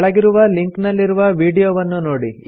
ಕೆಳಗಿರುವ ಲಿಂಕ್ ನಲ್ಲಿರುವ ವೀಡಿಯೊವನ್ನು ನೋಡಿ